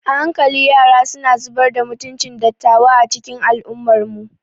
A hankali yara suna zubar da mutuncin dattawa a cikin al'ummarmu.